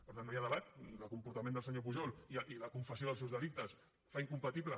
per tant no hi ha debat el comportament del senyor pujol i la confessió dels seus delictes fan incompatible